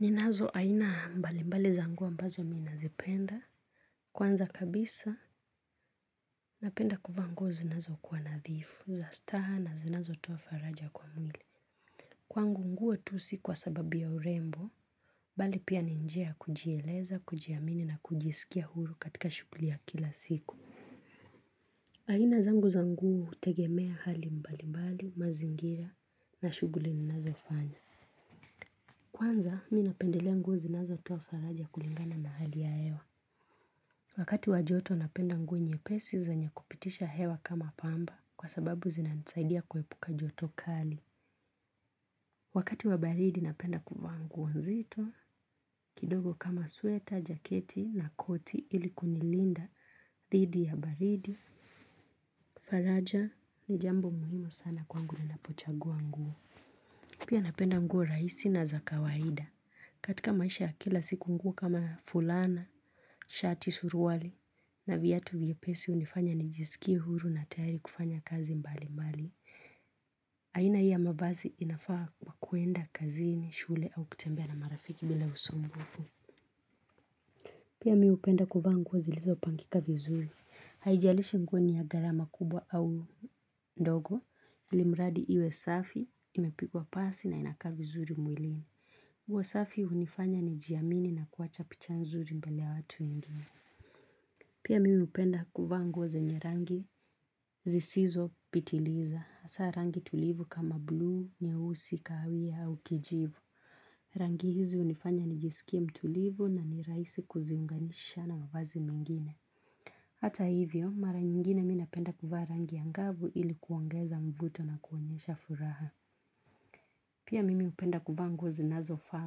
Ninazo aina mbali mbali za nguo ambazo ninazipenda kwanza kabisa napenda kuvaa nguo zinazo kuwa nadhifu za staha na zinazotoa faraja kwa mwili. Kwangu nguo tu si kwa sababi ya urembo. Mbali pia ni njia ya kujieleza kujiamini na kujisikia huru katika shuguli ya kila siku. Aina zangu za nguo hutegemea hali mbali mbali mazingira na shuguli ninazo fanya. Kwanza minapendelea nguo zinazotoa faraja kulingana hali ya hewa. Wakati wa joto napenda nguo nyepesi zenye kupitisha hewa kama pamba kwa sababu zinanisaidia kuepuka joto kali. Wakati wa baridi napenda kuvaa nguo nzito kidogo kama sueta, jaketi na koti ili kunilinda dhidi ya baridi. Faraja ni jambo muhimu sana kwangu ninapochagua nguo. Pia napenda nguo rahisi na zakawaida. Katika maisha ya kila siku nguo kama fulana, shati suruwali na viatu vyepesi hunifanya nijisikie huru na tayari kufanya kazi mbali mbali. Aina hii ya mavazi inafaa kuenda kazini, shule au kutembea na marafiki bila usumbufu. Pia miupenda kuvaa nguo zilizopangika vizuri. Haijalishi nguo ni ya gharama kubwa au ndogo, ilimradi iwe safi, imepigwa pasi na inakaa vizuri mwilini. Nguo safi hunifanya nijiamini na kuacha picha nzuri mbele ya watu wengine. Pia mimi hupenda kuvaa nguo zenye rangi zisizopitiliza. Hasa rangi tulivu kama blue, nyeusi, kawia au kijivu. Rangi hizi hunifanya nijisikie mtulivu na nirahisi kuziunganisha na mavazi mengine. Hata hivyo, mara nyingine mi napenda kuvaa rangi angavu ili kuongeza mvuto na kuonyesha furaha. Pia mimi hupenda kuvaa nguo zinazofaa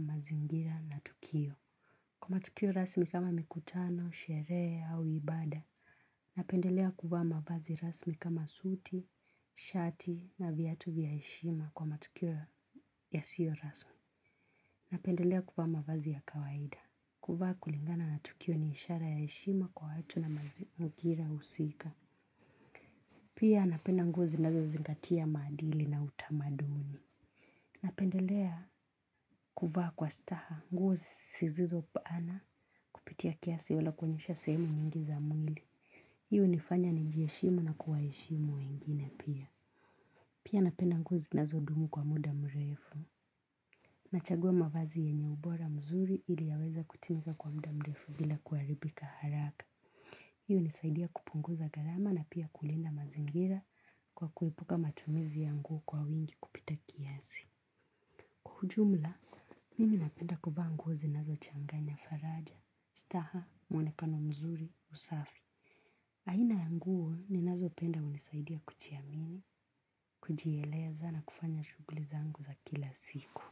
mazingira na tukio. Kwa matukio rasmi kama mikutano, sherehe au ibada, napendelea kuvaa mavazi rasmi kama suti, shati na viatu vya heshima kwa matukio yasiyo rasmi. Napendelea kuvaa mavazi ya kawaida, kuvaa kulingana na tukio ni ishara ya heshima kwa watu na mazingira usika. Pia napenda nguo zinazo zingatia maadili na utamaduni. Napendelea kuvaa kwa staha nguo zisizo bana kupitia kiasi au kuonyesha sehemu za nyingi za mwili. Hiyo hunifanya nijiheshimu na kuwaheshimu wengine pia. Pia napenda nguo zinazodumu kwa muda mrefu. Nachagua mavazi yenye ubora mzuri ili yaweze kutimika kwa muda mrefu bila kuharibika haraka. Hiyo nisaidia kupunguza gharama na pia kulinda mazingira kwa kuepuka matumizi ya nguo kwa wingi kupita kiasi. Kwa ujumla, mimi napenda kuvaa nguo zinazo changanya Faraja, Staha, Mwonekano Mzuri, Usafi. Aina ya nguo, ninayo penda hunisaidia kujiamini, kujieleza na kufanya shuguli zaangu za kila siku.